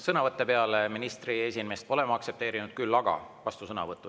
Sõnavõtte peale ministri esinemist pole ma aktsepteerinud, küll aga vastusõnavõtte.